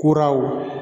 Kuraw